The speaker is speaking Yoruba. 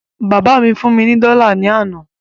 Bàbá mí fún mí ní dọ́là ní àná